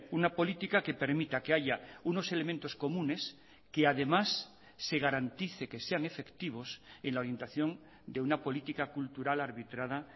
una política que permita que haya unos elementos comunes que además se garantice que sean efectivos en la orientación de una política cultural arbitrada